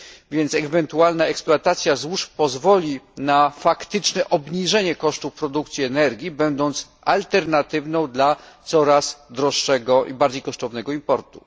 Więc ewentualna eksploatacja złóż pozwoli na faktyczne obniżenie kosztów produkcji energii, będąc alternatywą dla coraz droższego i bardziej kosztownego importu.